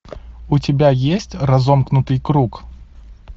у тебя есть разомкнутый круг